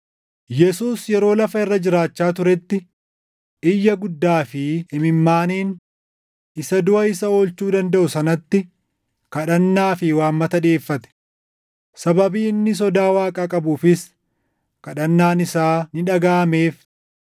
Yesuus yeroo lafa irra jiraachaa turetti iyya guddaa fi imimmaaniin isa duʼa isa oolchuu dandaʼu sanatti kadhannaa fi waammata dhiʼeeffate; sababii inni sodaa Waaqaa qabuufis kadhannaan isaa ni dhagaʼameef.